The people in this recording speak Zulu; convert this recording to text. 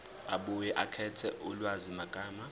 abuye akhethe ulwazimagama